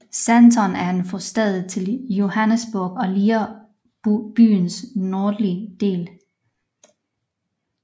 Sandton er en forstad til Johannesburg og ligger i byens nordlige del